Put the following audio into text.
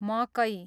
मकै